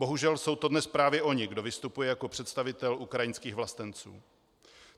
Bohužel jsou to dnes právě oni, kdo vystupuje jako představitel ukrajinských vlastenců.